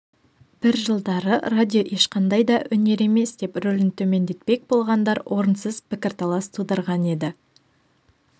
бір жылдары радио ешқандай да өнер емес деп рөлін төмендетпек болғандар орынсыз пікірталас тудырған еді